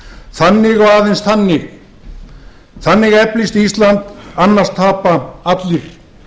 þannig og aðeins þannig eflist ísland annars tapa allir